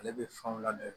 Ale bɛ fanw ladon